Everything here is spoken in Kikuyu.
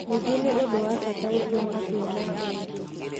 Ningĩ nĩ ũndũ wa bata gũtua matua ma ũũgĩ.